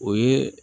O ye